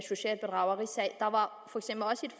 socialt bedrageri der var